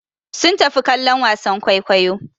Sun tafi kallon wasan kwaikwayo.